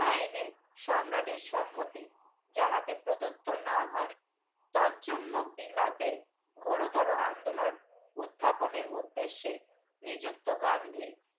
আইনে সম্রাটের সম্মতি যাহাতে পত্তত না হয় তরজন্য বিলাতে ঘোরতরও আন্দোলন উথাপনের উদ্দেশে নিযুক্ত গান্ধী